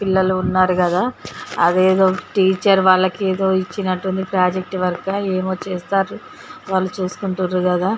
పిల్లలు ఉన్నారు కదా అదేదో టీచర్ వాళ్ళకి ఏదో ఇచ్చినట్టు ఉంది ప్రాజెక్టు వర్క్ ఏమో చేస్తారు వాళ్ళు చేసుకుంటారు కదా--